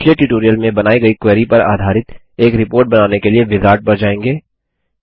हम पिछले ट्यूटोरियल में बनाई गयी क्वेरी पर आधारित एक रिपोर्ट बनाने के लिए विजार्ड पर जाएँगे